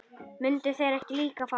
Myndu þeir ekki líka fara?